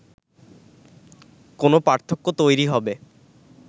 কোনো পার্থক্য তৈরি হবে